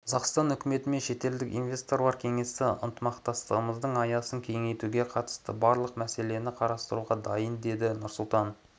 қазақстан үкіметі мен шетелдік инвесторлар кеңесі ынтымақтастығымыздың аясын кеңейтуге қатысты барлық мәселені қарастыруға дайын деді нұрсұлтан